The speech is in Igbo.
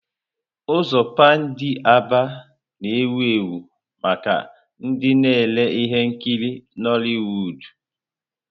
Ụzọ Pándị Aba na-ewu ewu maka ndị na-ere ihe nkiri Nollịwụ́d.